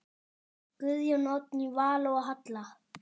Guðjón, Oddný Vala og Halla.